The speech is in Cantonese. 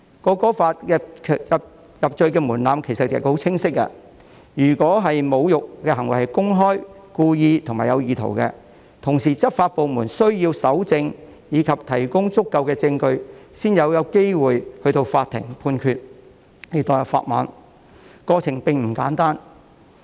《條例草案》的入罪門檻其實十分清晰，如果侮辱的行為是公開、故意和有意圖，而且執法部門需要搜證，以及提供足夠證據，才有機會交由法庭判決，要墮入法網，過程並不簡單。